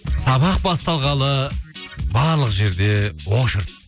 сабақ басталғалы барлық жерлерде